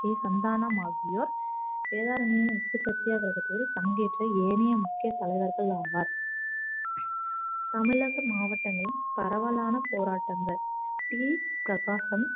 K Santhanam ஆகியோர் வேதாரண்யம் உப்பு சத்யாகிரகத்தில் பங்கேற்று ஏனைய முக்கிய தலைவர்கள் ஆவார் தமிழக மாவட்டங்களின் பரவலான போராட்டங்கள் டி பிரகாசம்